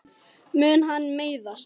Mun hann meiðast?